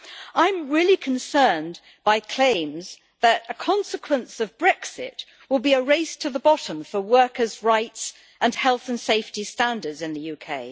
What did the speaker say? I am really concerned by claims that a consequence of Brexit will be a race to the bottom for workers' rights and health and safety standards in the UK.